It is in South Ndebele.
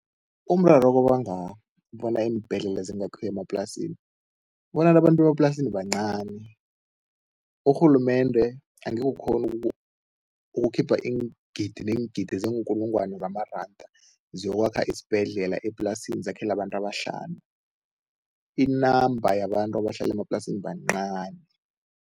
Umraro obanga bona iimbhedlela zingakhiwa emaplasini kubona abantu bemaplasini bancani. Urhulumende angekhe ukghone ukukhipha iingidi neengidi zeenkulungwana zamaranda zokwakha isibhedlela eplasini, zakhele abantu abahlanu, i-number yabantu abahlala emaplasini bancani.